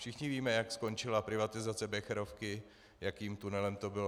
Všichni víme, jak skončila privatizace Becherovky, jakým tunelem to bylo.